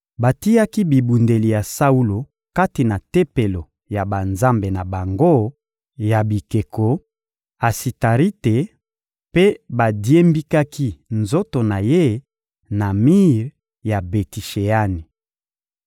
Batiaki bibundeli ya Saulo kati na tempelo ya banzambe na bango ya bikeko, Asitarite, mpe badiembikaki nzoto na ye na mir ya Beti-Sheani.